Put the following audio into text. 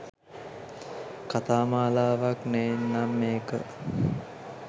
කථා මාලාවක් නේන්නම් මේක.